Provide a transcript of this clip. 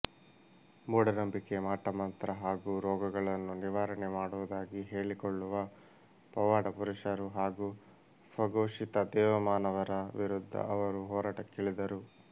ಮೂಢನಂಬಿಕೆ ಮಾಟಮಂತ್ರ ಹಾಗೂ ರೋಗಗಳನ್ನು ನಿವಾರಣೆ ಮಾಡುವುದಾಗಿ ಹೇಳಿಕೊಳ್ಳುವ ಪವಾಡಪುರುಷರು ಹಾಗೂ ಸ್ವಘೋಷಿತ ದೇವಮಾನವರ ವಿರುದ್ಧ ಅವರು ಹೋರಾಟಕ್ಕಿಳಿದರು